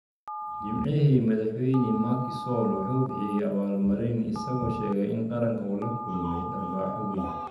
Jimcihii, Madaxweyne Macky Sall wuxuu bixiyay abaal-marin, isagoo sheegay in qaranka uu la kulmay "dharbaaxo weyn".